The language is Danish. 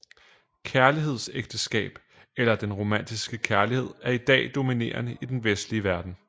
Kærlighedsægteskab eller den romantiske kærlighed er i dag dominerende i den vestlige verden